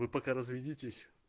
вы пока разведитесь